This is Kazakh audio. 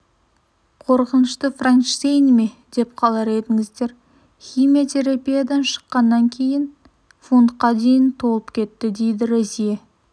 қорқынышты франкштейні ме деп қалар едіңіздер химиятерапиядан шыққаннан кейін фунтқа дейін толып кетті дейді розье